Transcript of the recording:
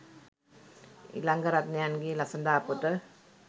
ඉලංගරත්නයන් ගේ ළසඳා පොත